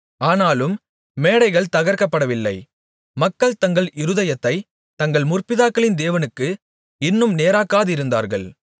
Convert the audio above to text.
ஆனாலும் மேடைகள் தகர்க்கப்படவில்லை மக்கள் தங்கள் இருதயத்தைத் தங்கள் முற்பிதாக்களின் தேவனுக்கு இன்னும் நேராக்காதிருந்தார்கள்